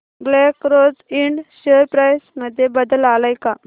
black rose ind share price मध्ये बदल आलाय का